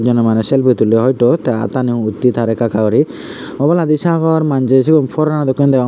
joney maneh selfi tulley hoyto tey attani uttey taar ekka ekka guri obladi sagor manjey siyun foreno dokkey deyong.